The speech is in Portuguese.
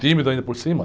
E tímido ainda por cima.